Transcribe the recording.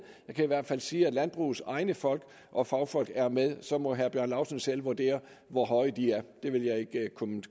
jeg kan i hvert fald sige at landbrugets egne folk og fagfolk er med så må herre bjarne laustsen selv vurdere hvor høje de er det vil jeg ikke